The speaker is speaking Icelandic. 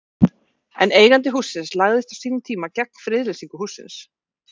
En eigandi hússins lagðist á sínum tíma gegn friðlýsingu hússins?